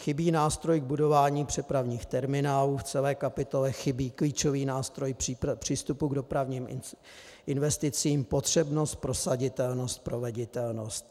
Chybí nástroj k budování přepravních terminálů, v celé kapitole chybí klíčový nástroj přístupu k dopravním investicím, potřebnost, prosaditelnost, proveditelnost.